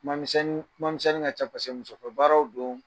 Kuma misɛni kuma misɛni ŋa can paseke musofɛ baararaw doon.